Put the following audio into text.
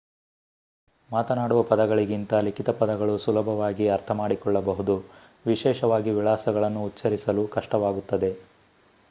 ಮಾತನಾಡುವ ಪದಗಳಿಗಿಂತ ಲಿಖಿತ ಪದಗಳನ್ನು ಸುಲಭವಾಗಿ ಅರ್ಥಮಾಡಿಕೊಳ್ಳಬಹುದು ವಿಶೇಷವಾಗಿ ವಿಳಾಸಗಳನ್ನು ಉಚ್ಛರಿಸಲು ಕಷ್ಟವಾಗುತ್ತದೆ